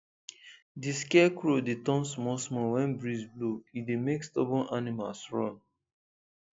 d scarecrow dey turn small small when breeze blow e dey make stubborn animals run